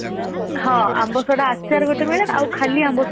ଆମ୍ବ ଶଢା ଆଚାର ଗୋଟେ ମିଳେ ଆଉ ଖାଲି ଆମ୍ବ ଶଢା